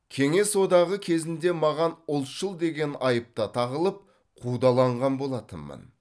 кеңес одағы кезінде маған ұлтшыл деген айып та тағылып қудаланған болатынмын